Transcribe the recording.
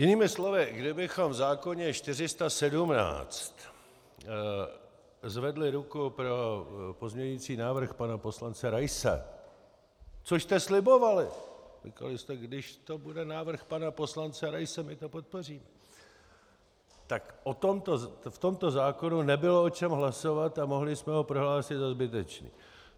Jinými slovy, kdybychom v zákoně 417 zvedli ruku pro pozměňovací návrh pana poslance Raise, což jste slibovali, říkali jste "když to bude návrh pana poslance Raise, my to podpoříme", tak v tomto zákoně nebylo o čem hlasovat a mohli jsme ho prohlásit za zbytečný.